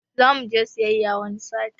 Zamuje siyayya wani sati